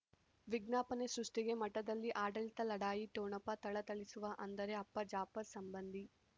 ವಿಜ್ಞಾಪನೆ ಸೃಷ್ಟಿಗೆ ಮಠದಲ್ಲಿ ಆಡಳಿತ ಲಢಾಯಿ ಠೊಣಪ ಥಳಥಳಿಸುವ ಅಂದರೆ ಅಪ್ಪ ಜಾಫರ್ ಸಂಬಂಧಿ